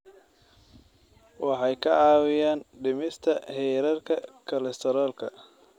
Waxay kaa caawinayaan dhimista heerarka kolestaroolka.